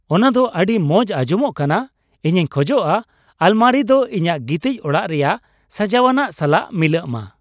ᱚᱱᱟ ᱫᱚ ᱟᱹᱰᱤ ᱢᱚᱸᱡ ᱟᱸᱡᱚᱢᱚᱜ ᱠᱟᱱᱟ ! ᱤᱧᱤᱧ ᱠᱷᱚᱡᱼᱟ ᱟᱞᱢᱟᱨᱤ ᱫᱚ ᱤᱧᱟᱜ ᱜᱤᱛᱤᱡ ᱚᱲᱟᱜ ᱨᱮᱭᱟᱜ ᱥᱟᱡᱟᱣᱱᱟᱜ ᱥᱟᱞᱟᱜ ᱢᱤᱞᱟᱹᱜ ᱢᱟ ᱾